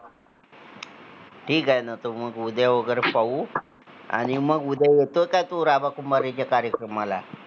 ठीक आहे न तर मग उद्या वगैरे पाहू आणि मग उद्या येतो का तू, रामा कुंभारे च्या कार्यक्रमाला